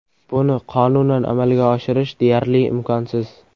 Buni qonunan amalga oshirish deyarli imkonsiz.